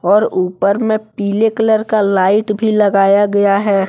और ऊपर में पीले कलर का लाइट भी लगाया गया है।